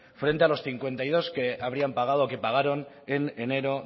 frente a los cincuenta y dos que habrían pagado o que pagaron en enero